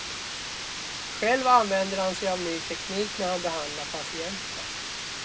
Själv använder han sig av ny teknik när han behandlar patienter.